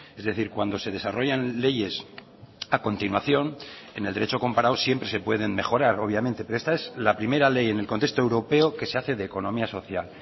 es decir cuando se desarrollan leyes a continuación en el derecho comparado siempre se pueden mejorar obviamente pero esta es la primera ley en el contexto europeo que se hace de economía social